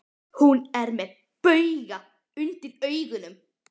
Hún er með bauga undir augunum.